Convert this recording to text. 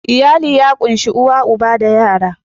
Iyali ya ƙunshi uwa uba da yara